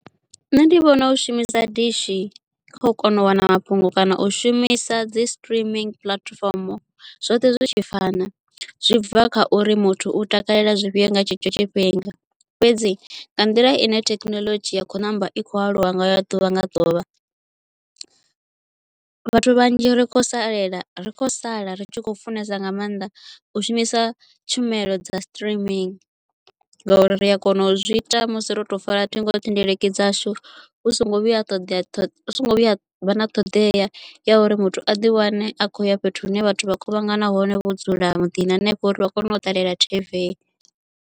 Nṋe ndi vhona u shumisa dishi u kona u wana mafhungo kana u shumisa dzi streaming puḽatifomo zwoṱhe zwi tshi fana zwi bva kha uri muthu u takalela zwifhio nga tshetsho tshifhinga fhedzi nga nḓila ine thekinoḽodzhi ya khou ṋamba i khou aluwa ngayo ḓuvha nga ḓuvha vhathu vhanzhi ri kho salela ri khou sala ri tshi khou funesa nga mannḓa u shumisa tshumelo dza streaming ngauri ri a kona u zwi ita musi ro to fara ṱhingo thendeleki dzashu hu songo vhuya ṱoḓea songo vhuya ha vha na ṱhoḓea ya uri muthu a ḓi wane a kho ya fhethu hune vhathu vha kuvhangana hone vho dzula muḓini hanefho uri vha kone u ṱalela T_V.